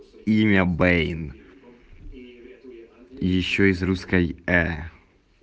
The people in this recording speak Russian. имя бэйн ещё из русской э